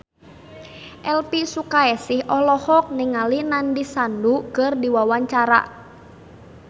Elvy Sukaesih olohok ningali Nandish Sandhu keur diwawancara